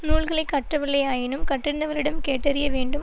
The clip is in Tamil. நூல்களை கற்றவில்லையாயினும் கற்றறிந்தவரிடம் கேட்டறிய வேண்டும்